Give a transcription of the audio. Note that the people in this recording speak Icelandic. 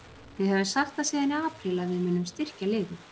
Við höfum sagt það síðan í apríl að við munum styrkja liðið.